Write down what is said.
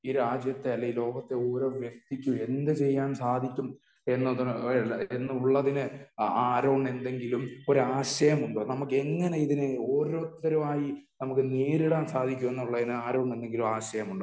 ഈ രാജ്യത്തെ അല്ലെങ്കിൽ ഈ ലോകത്തെ ഓരോ വ്യക്തിക്കും എന്ത് ചെയ്യാൻ സാധിക്കും എന്നുള്ളതിന് ആറോണിന്ന് എന്തെങ്കിലും ഒരു ആശയം ഉണ്ടോ? നമുക്കെങ്ങനെ ഇതിനെ ഓരോരുത്തരായി നമുക്ക് നേരിടാൻ സാധിക്കും എന്നുള്ളതിന് ആറോണിന് എന്തെങ്കിലും ആശയമുണ്ടോ?